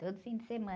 Todo fim de semana.